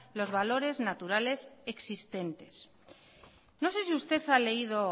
los valores naturales existentes no sé si usted ha leído